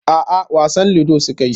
A'a wasan ludo suka yi.